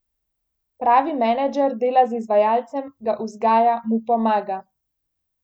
Pravi menedžer dela z izvajalcem, ga vzgaja, mu pomaga.